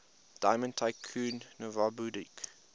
diamond tycoon nwabudike